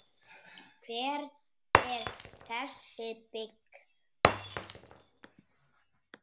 Hver er þessi byggð?